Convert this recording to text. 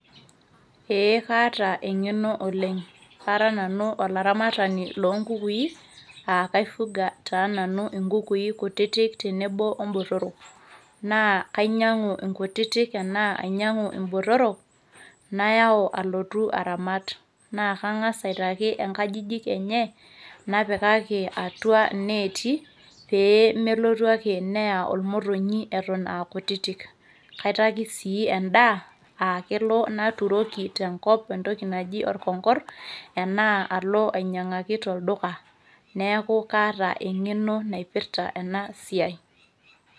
ee kaata eng'eno oleng ara nanu olaramatani lonkukui uh, kaifuga taa nanu inkukui kutitik tenebo ombotorok naa kainyiang'u inkutitik tenaa ainyiang'u imbotorok nayau alotu aramat naa kang'as aitaki inkajijik enye napikaki atua ineeti pee melotu ake neya olmotonyi eton akutitik kaitaki sii endaa akelo naturoki tenkop entoki naji orkongorr enaa alo ainyiang'aki tolduka neeku kaata eng'eno naipirrta ena siai.